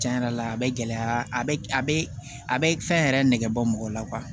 Cɛn yɛrɛ la a bɛ gɛlɛya a bɛ a bɛ a bɛ fɛn yɛrɛ nɛgɛ bɔ mɔgɔ la